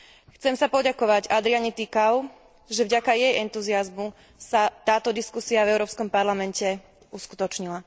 Chcem sa poďakovať Adriane Ţicăovej, že vďaka jej entuziazmu sa táto diskusia v Európskom parlamente uskutočnila.